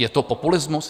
Je to populismus?